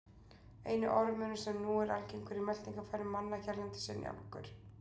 Eini ormurinn sem nú er algengur í meltingarfærum manna hérlendis er njálgur.